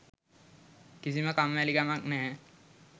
කිසිම කම්මැලිකමක් නැහැ.